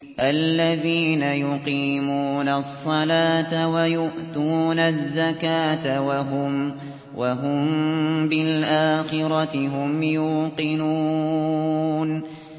الَّذِينَ يُقِيمُونَ الصَّلَاةَ وَيُؤْتُونَ الزَّكَاةَ وَهُم بِالْآخِرَةِ هُمْ يُوقِنُونَ